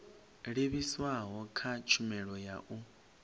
livhiswaho kha tshumelo ya u